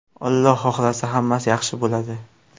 Alloh xohlasa, hammasi yaxshi bo‘ladi.